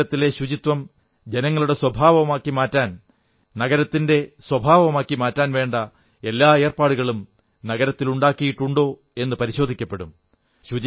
നഗരത്തിലെ ശുചിത്വം ജനങ്ങളുടെ സ്വഭാവമായി മാറാൻ നഗരത്തിന്റെ സ്വഭാവമായി മാറാൻ വേണ്ട എല്ലാ ഏർപ്പാടുകളും നഗരത്തിൽ ഉണ്ടാക്കിയിട്ടുണ്ടോ എന്നു പരിശോധിക്കപ്പെടും